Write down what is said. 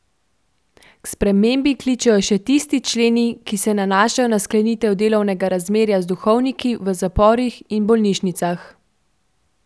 K spremembi kličejo še tisti členi, ki se nanašajo na sklenitev delovnega razmerja z duhovniki v zaporih in bolnišnicah.